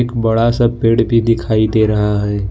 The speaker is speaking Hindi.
बड़ा सा पेड़ भी दिखाई दे रहा है।